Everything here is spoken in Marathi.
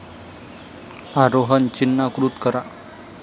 आरोहन चिन्हाकृत करा